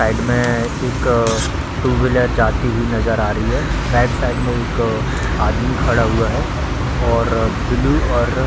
side में एक two wheeler जाती हुई नजर आ रही है राइट साइड में एक आदमी खड़ा हुआ है और ब्लू और --